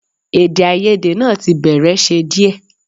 Èdèàìyedè náà tí bẹ̀rẹ̀ ṣe díẹ̀